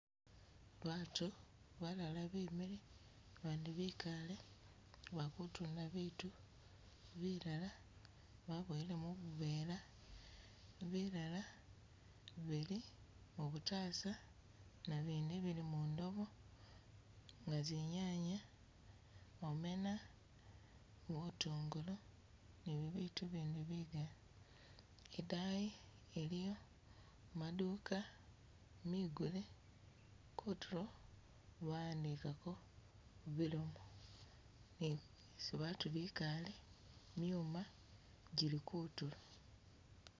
Batu balala bemile bandi bikale, bakutunda bitu bilala babowele mu bubuvela bilala bili mubutasa nabindi bili mundobo nga zinyanya, omena, butungulu ni bibitu bindi bigali, idaayi iliyo maduka migule, kutulo ba wandikako bilomo, ni isi batu bikale myuma gili kutulo.